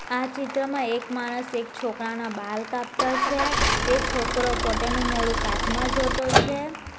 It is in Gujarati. આ ચિત્રમાં એક માણસ એક છોકરાના બાલ કાપતો છે તે છોકરો પોતે નું મોઢું કાચમાં જોતો છે.